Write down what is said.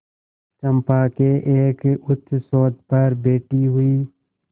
चंपा के एक उच्चसौध पर बैठी हुई